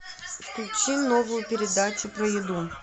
включи новую передачу про еду